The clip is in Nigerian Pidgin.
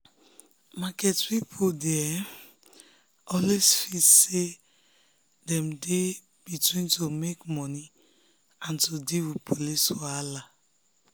market people dey um always feel say dem um dey between to make money and to deal with police wahala.